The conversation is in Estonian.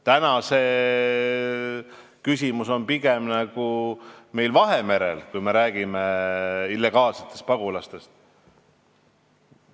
Täna on see pigem Vahemere küsimus, kui me räägime illegaalsetest pagulastest.